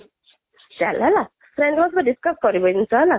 ଚାଲ ହେଲା friend group ରେ discuss କରିବୁ ଏଇ ଜିନିଷ ହେଲା